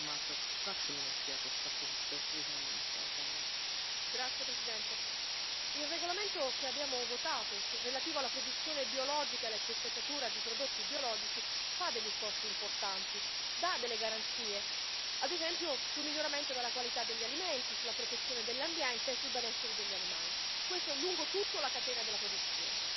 Signor Presidente, onorevoli colleghi, il regolamento che abbiamo votato relativo alla produzione biologica e all'etichettatura di prodotti biologici fa degli sforzi importanti e dà delle garanzie, ad esempio, sul miglioramento della qualità degli alimenti, sulla protezione dell'ambiente e sul benessere degli animali, questo lungo tutta la catena della produzione.